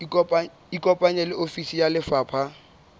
ikopanye le ofisi ya lefapha